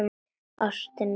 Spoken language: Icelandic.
Ástin mín!